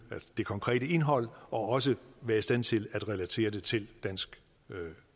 det konkrete indhold og også være i stand til at relatere det til dansk